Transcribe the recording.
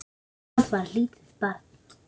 Og það var lítið barn.